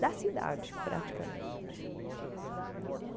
Da cidade, praticamente. Ela